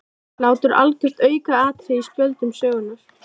Hlátur algjört aukaatriði á spjöldum sögunnar.